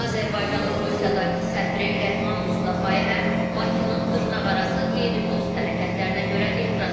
Azərbaycanın Rusiyadakı səfiri Rəhman Mustafayevə Bakının dırnaqarası qeyri-dost hərəkətlərinə görə etiraz edilib.